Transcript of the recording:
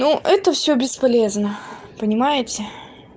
ну это всё бесполезно понимаете